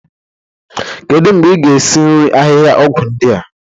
Kedu mgbe ị ga-esi nri ahịhịaọgwụ ndị a?